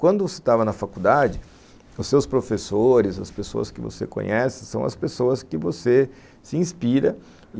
Quando você estava na faculdade, os seus professores, as pessoas que você conhece, são as pessoas que você se inspira.